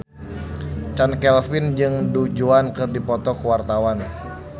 Chand Kelvin jeung Du Juan keur dipoto ku wartawan